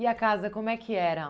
E a casa, como é que era?